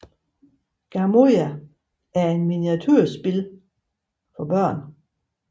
Gamoja er et miniaturesamlespil for børn